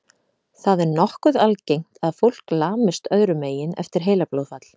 Það er nokkuð algengt að fólk lamist öðrum megin eftir heilablóðfall.